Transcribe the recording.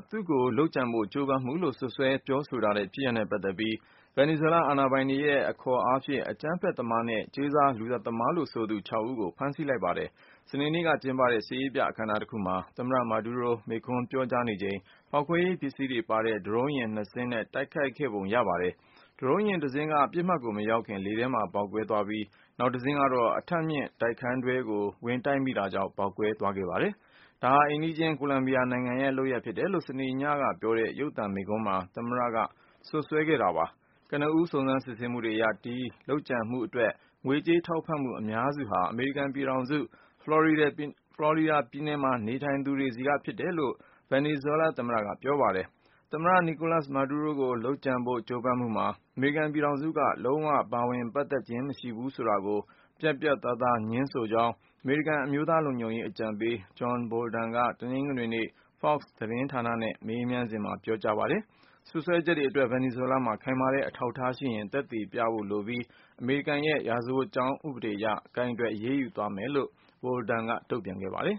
သူ့ကိုလုပ်ကြံဖို့ ကြိုးပမ်းမှုလို့ စွပ်စွဲပြောဆိုထားတဲ့ ဖြစ်ရပ်နဲ့ပတ်သက်ပြီး ဗင်နီဇွဲလား အာဏာပိုင်တွေရဲ့ အခေါ်အားဖြင့် အကြမ်းဖက်သမားနဲ့ ကြေးစားလူသတ်သမားလို့ဆိုသူ ၆ ဦးကို ဖမ်းဆီးလိုက်ပါတယ်။ စနေနေ့ကကျင်းပတဲ့ စစ်ရေးပြအခမ်းအနားတခုမှာ သမ္မတ Maduro မိန်းခွန်းပြောနေချိန် ဖောက်ခွဲရေးပစ္စည်းတွေပါတဲ့ ဒရုန်းယာဉ် နှစ်စင်းနဲ့တိုက်ခိုက်ခဲ့ပုံရပါတယ်။ ဒရုန်းယာဉ်တစင်းက ပစ်မှတ်ကိုမရောက်ခင် လေထဲမှာပဲ ပေါက်ကွဲသွားပြီး နောက်တစင်းကတော့ အထပ်မြင့်တိုက်ခန်းတွဲကို ဝင်တိုက်မိတာကြောင့် ပေါက်ကွဲသွားခဲ့ပါတယ်။ ဒါဟာ အိမ်နီးချင်း ကိုလံဘီယာနိုင်ငံရဲ့လုပ်ရပ်ဖြစ်တယ်လို့ စနေညကပြောတဲ့ ရုပ်သံမိန့်ခွန်းမှာ သမ္မတ Maduro ကစွပ်စွဲခဲ့တာပါ။ ကနဦး စုံစမ်းစစ်ဆေးမှုတွေအရ ဒီလုပ်ကြံမှုအတွက် ငွေကြေးထောက်ပံ့မှုအများစုဟာ အမေရိကန်ပြည်ထောင်စု ဖလော်ရီဒါ ပြည်နယ်မှာ နေထိုင်သူတွေဆီက ဖြစ်တယ်လို့လည်း ဗင်နီဇွဲလားသမ္မတက ပြောပါတယ်။ သမ္မတ Nicolas Maduro ကို လုပ်ကြံဖို့ကြိုးပမ်းမှုမှာ အမေရိကန်ပြည်ထောင်စုက လုံးဝ ပါဝင်ပတ်သက်ခြင်း မရှိဘူးဆိုတာကိုပြတ်ပြတ်သားသား ငြင်းဆိုကြောင်း အမေရိကန် အမျိုးသားလုံခြုံရေးအကြံပေး John Bolton က တနင်္ဂနွေနေ့ Fox သတင်း ဌာနနဲ့ မေးမြန်းခန်းမှာ ငြင်းဆိုလိုက်ပါတယ်။ စွဲစွပ်ချက်တွေအတွက် ဗင်နီဇွဲလားမှာ ခိုင်မာတဲ့အထောက်အထားရှိရင် သက်သေပြ ဖို့လိုပြီး အမေရိကန်ရဲ့ ရာဇဝတ်ကြောင်းဥပဒေအရ ကိုင်တွယ် အရေးယူသွားမယ်လို့ John Bolton ကတုန့်ပြန်ပါတယ်